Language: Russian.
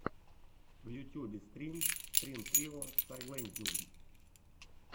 в ютьюбе стрим стрин трио сайлэнзиум